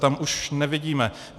Tam už nevidíme.